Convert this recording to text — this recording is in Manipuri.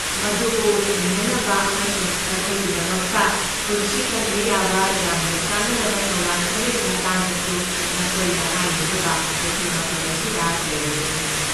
ꯃꯗꯨꯕꯨ ꯊꯦꯡꯅꯅꯕ ꯑꯃꯁꯨꯡ ꯅꯈꯣꯏꯒꯤꯗꯃꯛꯇ ꯄꯨꯟꯁꯤ ꯀꯟꯕ ꯌꯥꯕ ꯌꯥꯝꯅ ꯀꯥꯟꯅꯔꯕ ꯊꯧꯔꯥꯡ ꯈꯔꯒꯤ ꯃꯇꯥꯡꯗꯁꯨ ꯅꯈꯣꯏꯗ ꯍꯥꯏꯅꯅꯕ ꯑꯩꯈꯣꯏ ꯃꯐꯝ ꯑꯁꯤꯗ ꯂꯩꯔꯤꯕꯅꯤ꯫